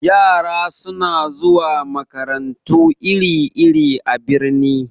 Yara suna zuwa makarantu iri-iri a birni.